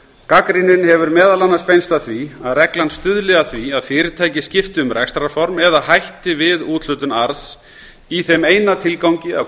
gagnrýnin hefur meðal annars beinst að því að reglan stuðli að því að fyrirtæki skipti um rekstrarform eða hætti við úthlutun arðs í þeim eina tilgangi að